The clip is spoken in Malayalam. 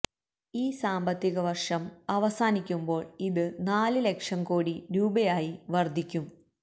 ഈ സാമ്പത്തിക വർഷം അവസാനിക്കുമ്പോൾ ഇത് നാല് ലക്ഷം കോടി രൂപയായി വർദ്ധിക്കും